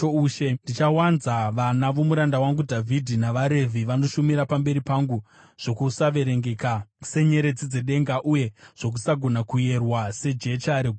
Ndichawanza vana vomuranda wangu Dhavhidhi navaRevhi vanoshumira pamberi pangu zvokusaverengeka senyeredzi dzedenga uye zvokusagona kuyerwa sejecha regungwa.’ ”